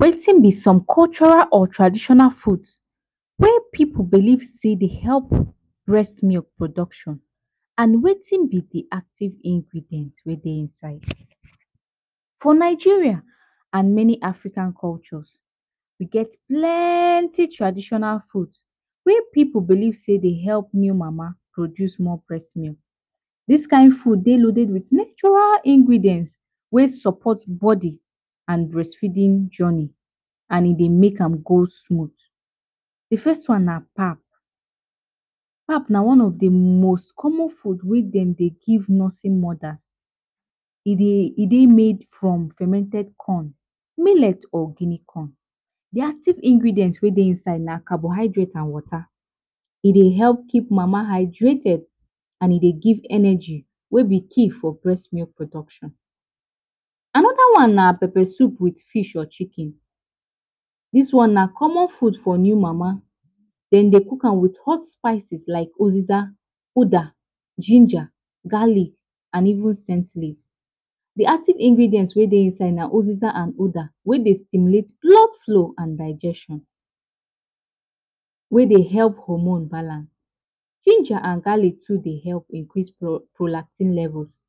Wetin b some cultural or traditional foods wey pipu Dey think say Dey help breast milk production and Wetin b d active ingredients wey Dey inside, for Nigeria and many African countries e get plenty cultural foods wey pipu believe sey e Dey help new mama produce more breast milk this kind food Dey loaded with natural ingredients wey support body and breastfeeding journey and e Dey make an go smooth. D first one na pap, pap nan one of d most common foods wey dem Dey give nursing mothers e Dey made from fermented corn, millet or Guinea corn, d active ingredient wey Dey inside na carbohydrates and water, Dey Dey help keep mama hydrated and e Dey give energy, wey b key for breast milk production. Anoda one na pepper soup with fish or chicken, dis one na common food for new mama, dem Dey cook am with hot spices like oziza, oda, ginger, garlic and even scent leave, d active ingredient wey Dey inside na oziza and uda wey Dey stimulate blood flow and digestion, wey Dey help hormone balance, ginger and garlic Dey help increase prolactin levels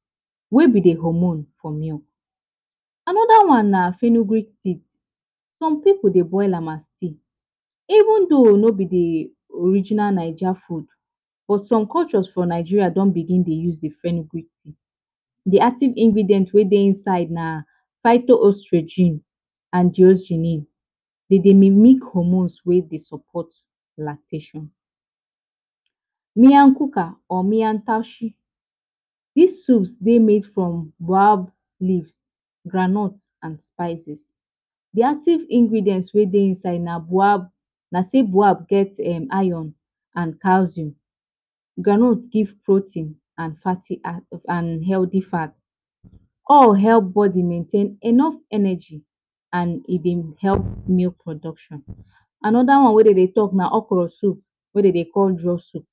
wey b d hormones for milk, anoda one na fernugreek seed, some pipu Dey boil am as seed even tho no b d original naija food but some cultures for Nigeria don begin Dey use d, d active ingredients wey Dey inside na fito ostrogen and, dem Dey mimic hormones wey Dey support lactation. Miyan kuka or miyan taushe, dis soups Dey made from boab leaves, groundnut and spices d active ingredients na still boab get iron and calcium, groundnut give protein and fatty acid and healthy fat all help body maintain enough energy and e Dey help milk production, anoda one wey dem Dey talk na okro soup wey dem Dey call draw soup,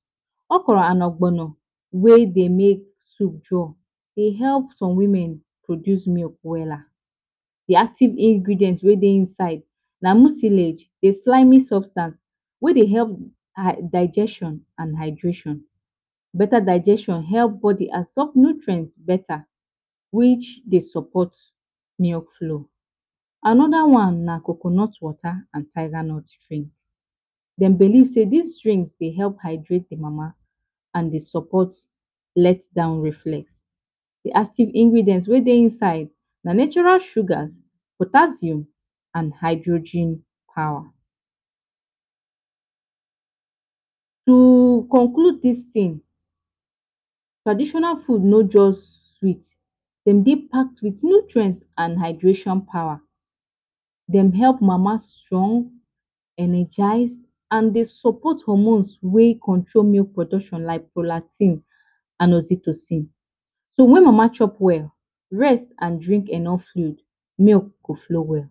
okro and ogbono wey Dey make soup draw Dey help some women produce milk wella, d active ingredient wey Dey inside na musilage, d slimy substance wey Dey help digestion and hydration, beta digestion help body absorb nutrients beta which Dey support milk flow, Anoda one na coconut water and tiger nut drink, dem believe say dis drinks Dey help hydrate d mama, and Dey support letdown reflect, d active ingredient wey Dey inside na natural sugar, potassium and hydrogen power, to conclude dis tin, traditional food no just good dem Dey packed wit nutrients and hydration power dem help mama strong energize and Dey support hormones wey control milk production like, prolactin and oxytocin, so wen mama chop well, rest and drink enough milk, milk go flow well.